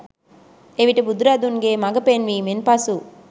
එවිට බුදු රදුන්ගේ මඟ පෙන්වීමෙන් පසු